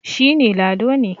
shi ne Lado ne